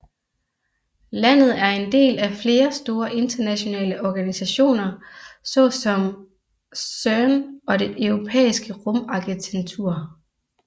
Landet er en del af flere store internationale organisationer såsom CERN og det Europæiske Rumagentur